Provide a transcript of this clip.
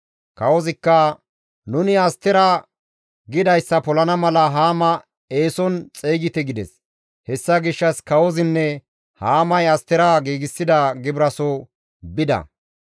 Kawozikka, «Nuni Astera gidayssa polana mala Haama eeson xeygite» gides. Hessa gishshas kawozinne Haamay Astera giigsida gibiraaso bida.